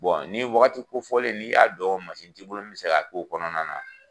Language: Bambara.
ni wagati kofɔlen n'i y'a dɔn ti bolo min mi se ka ko kɔnɔna na